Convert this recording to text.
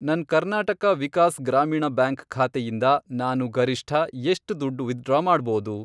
ನನ್ ಕರ್ನಾಟಕ ವಿಕಾಸ್ ಗ್ರಾಮೀಣ ಬ್ಯಾಂಕ್ ಖಾತೆಯಿಂದ ನಾನು ಗರಿಷ್ಠ ಎಷ್ಟ್ ದುಡ್ಡು ವಿತ್ಡ್ರಾ ಮಾಡ್ಬೋದು?